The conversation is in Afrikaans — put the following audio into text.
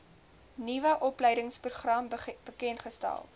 nuwe opleidingsprogram bekendgestel